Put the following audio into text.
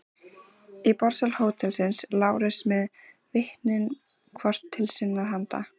Í borðsal hótelsins: Lárus með vitnin hvort til sinnar handar.